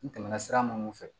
N tɛmɛna sira mun fɛ